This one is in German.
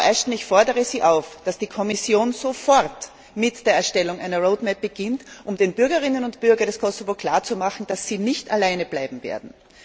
Frau Ashton, ich fordere Sie auf, dass die Kommission sofort mit der Erstellung einer Roadmap beginnt, um den Bürgerinnen und Bürgern des Kosovo klarzumachen, dass sie nicht alleine bleiben werden.